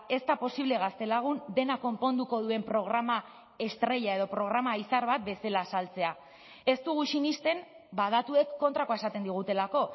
ez da posible gaztelagun dena konponduko duen programa estrella edo programa izar bat bezala azaltzea ez dugu sinesten datuek kontrakoa esaten digutelako